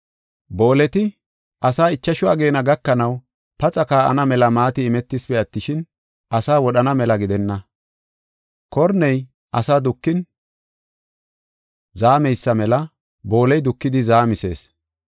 Booleti asaa ichashu ageena gakanaw paxa kaa7ana mela maati imetisipe attishin, asaa wodhana mela gidenna. Korney ase dukin zaameysa mela booley dukidi zaamisees.